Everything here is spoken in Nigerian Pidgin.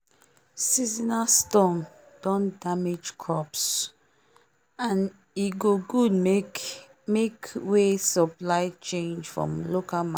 seasonal storm don damage crops and e go good make make way supply change for local